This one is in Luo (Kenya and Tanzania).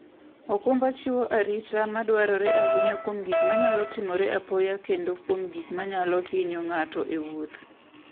okumba chiwo rit madwarore ahinya kuom gik manyalo timore apoya kendo kuom gik manyalo hinyo ng'ato e wuoth.